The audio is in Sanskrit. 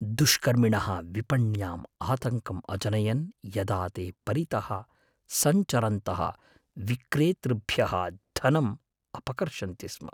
दुष्कर्मिणः विपण्याम् आतङ्कं अजनयन् यदा ते परितः सञ्चरन्तः विक्रेतृभ्यः धनं अपकर्षन्ति स्म।